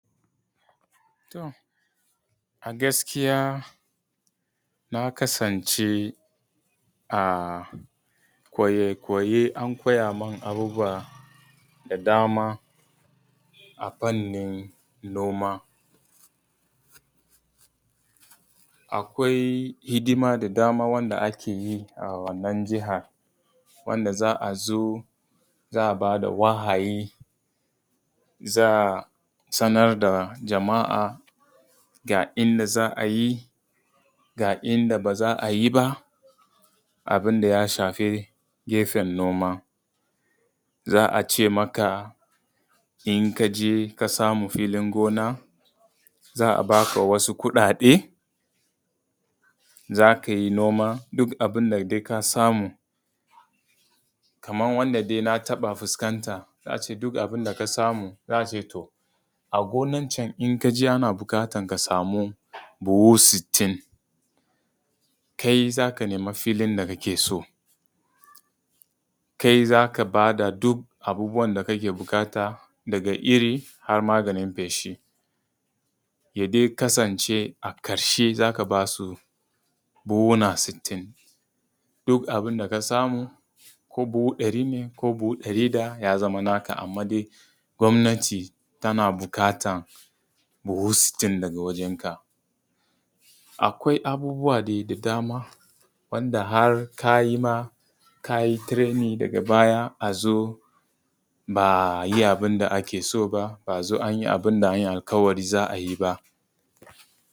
A gaskiya ka kasance koyi koyi an koya min abubuwa da dama a fannin noma. Akwai hidima da dama wanda ake yi a wannan jihar wanda za a zo za a ba da wahayi za a sanar da jama'a ga inda za a yi, ga inda ba za a yi ba, abin da ya shafi gefen noma. Za a ce maka in ka je ka samu filin gona, za a ba ka wasu kuɗaɗe, za kai noma duk abin da ka samu kaman wanda dai na taɓa fuskanta za a ce duk abun da ka samu, za a ce to a gonan can in kaji ana buƙatan ka samu buhu sittin, kai za ka nemi filin da kake so, kai za ka ba da dukkan abubuwan da kake buƙata daga iri har maganin feshi. Ya dai kasance a ƙarshe za ka b asu buhuhuna sittin. Duk abun da ka samu ko buhu dari ne ya zama naka. Amma dai gwamnati tana buƙata buhu sittin daga wajan ka. Akwai abubuwa dai da dama wanda har ka yi ma ka yi tireni daga baya a zo ba a yi abin da ake so ba, ba a zo anyi abin da an yi alƙawari za a yi ba.